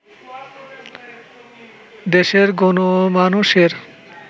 দেশের গণমানুষের